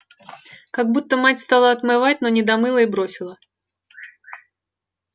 как-будто мать стала отмывать но не домыла и бросила